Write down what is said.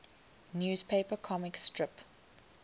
newspaper comic strip